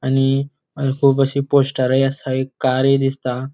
आणि हांगा खूब अशी पोस्टरी आसा एक कारी दिसता.